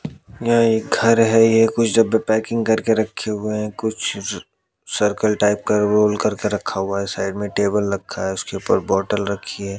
यह एक घर है ये कुछ डब्बे पैकिंग करके रखे हुए हैं कुछ सर्कल टाइप का रोल करके रखा हुआ है साइड में टेबल रखा है उसके ऊपर बॉटल रखी है।